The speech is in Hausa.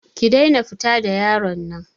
Ki daina fita da yaron nan.